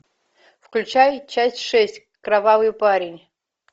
включай часть шесть кровавый парень